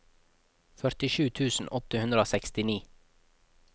førtisju tusen åtte hundre og sekstini